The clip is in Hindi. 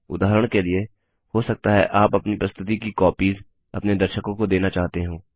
उदाहरण के लिए हो सकता है आप अपनी प्रस्तुति की कॉपिज़ अपने दर्शकों को देना चाहते हो